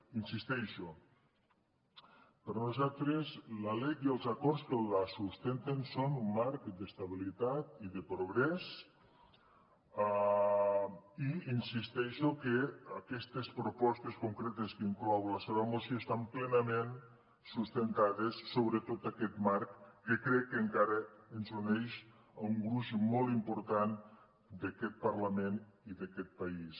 hi insisteixo per nosaltres la lec i els acords que la sustenten són un marc d’estabilitat i de progrés i hi insisteixo que aquestes propostes concretes que inclou la seva moció estan plenament sustentades sobre tot aquest marc que crec que encara ens uneix a un gruix molt important d’aquest parlament i d’aquest país